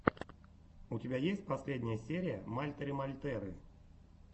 у тебя есть последняя серия мальтеры мальтеры